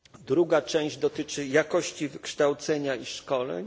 Druga część dotyczy jakości wykształcenia i szkoleń.